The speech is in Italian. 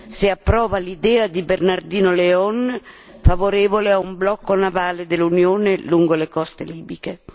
se approva l'idea di Bernardino León, favorevole a un blocco navale dell'Unione lungo le coste libiche.